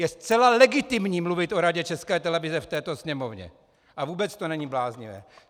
Je zcela legitimní mluvit o Radě České televize v této Sněmovně a vůbec to není bláznivé.